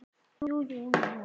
Það kom aldrei til.